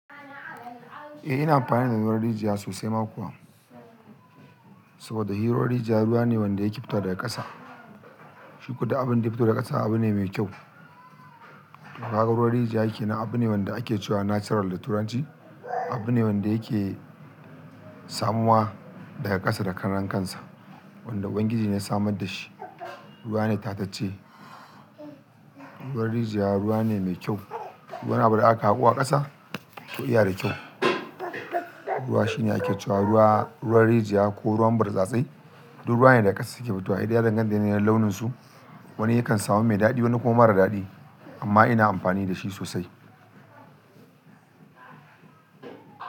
Eh ina amfani da ruwan rijiya sosai ma kuwa. Saboda hi ruwan rijiya ruwa ne wanda yake fito daga ƙasa. Shikuma duk abin da ya fito daga ƙasa abu ne mai kyau. Kagaruwan rijiya kenan abu ne wanda ake cewa natural da turanci. Abu ne wanda yake samuwa daga ƙasa da karan kansa. Wanda Ubangiji ne ya samar da shi. Ruwa ne tatacce. Ruwan rijiya ruwa ne mai kyau. Duk wani abu da aka haƙo a ƙasa to iya da kyau. Ruwa shi ne ake cewa ruwa, ruwan rijiya ko ruwan birtsatse duk ruwa ne daga ƙasa suke fitowa. Hedai ya danganta ne yanayin launinsu. Wani yakan samu mai daɗi wani kuma mara daɗi amma ina amfani da shi sosai.